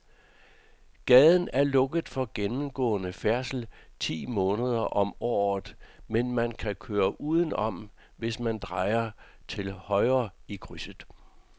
Gaden er lukket for gennemgående færdsel ti måneder om året, men man kan køre udenom, hvis man drejer til højre i krydset.